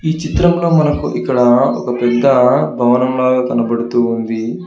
ఈ చిత్రంలో మనకు ఇక్కడ ఒక పెద్ద భవనం లాగా కనబడుతూ ఉంది.